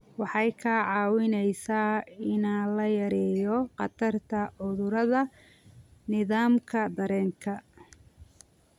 Waxay kaa caawinaysaa in la yareeyo khatarta cudurrada nidaamka dareenka.